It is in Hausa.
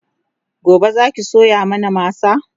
gobe Zaki soya mana masa?